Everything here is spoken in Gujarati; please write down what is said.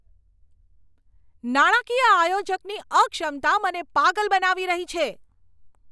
નાણાકીય આયોજકની અક્ષમતા મને પાગલ બનાવી રહી છે!